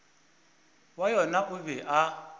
wa yona o be a